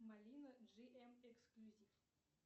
малина джи эм эксклюзив